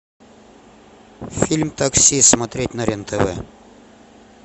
фильм такси смотреть на рен тв